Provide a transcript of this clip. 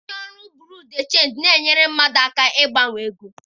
Ndị ọrụ Bureau de Chenji na-enyere ndị mmadụ aka ịgbanwe ego.